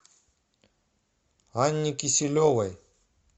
анне киселевой